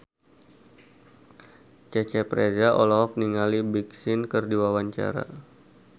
Cecep Reza olohok ningali Big Sean keur diwawancara